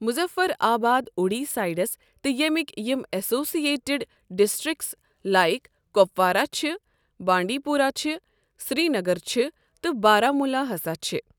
مُظَفر آباد اوٗڑی سایڈَس تہٕ ییٚمِکۍ یِم اٮ۪سوسیٹِڈ ڈِسٹرٛکِس لایک کۄپوارہ چھِ بانڈی پورہ چھِ سرینگر چھِ تہٕ بارہمولہ ہَسا چھِ۔۔